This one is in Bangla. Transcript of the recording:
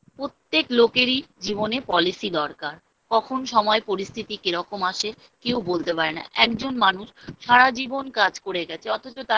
পোত্যেক লোকেরই জীবনে Policy দরকার কখন সময় পরিস্থিতি কিরকম আসে কেউ বলতে পারে না একজন মানুষ সারা জীবন কাজ করে গেছে অথচ তার